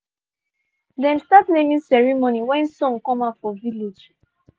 she know say dem call her name we smile small small small